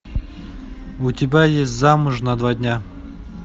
у тебя есть замуж на два дня